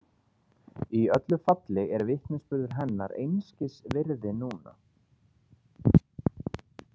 Í öllu falli er vitnisburður hennar einskis virði núna.